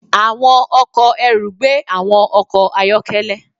Àwọn ọkọ̀ ẹrù gbé àwọn ọkọ̀ ayọ́kẹ́lẹ́.